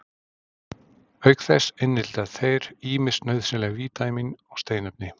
Auk þess innihalda þeir ýmis nauðsynleg vítamín og steinefni.